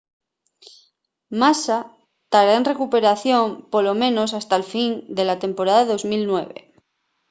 massa tará en recuperación polo menos hasta'l fin de la temporada 2009